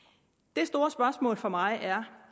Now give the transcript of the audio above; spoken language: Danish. det store spørgsmål for mig er